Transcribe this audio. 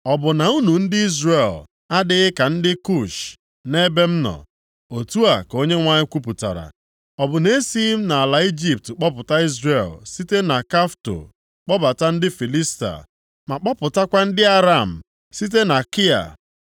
“Ọ bụ na unu ndị Izrel adịghị ka ndị Kush nʼebe m nọ?” Otu a ka Onyenwe anyị kwupụtara. “Ọ bụ na-esighị m nʼala Ijipt kpọpụta Izrel, site na Kafto kpọpụta ndị Filistia, ma kpọpụtakwa ndị Aram site na Kia?